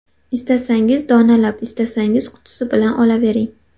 Istasangiz donalab, istasangiz qutisi bilan olavering.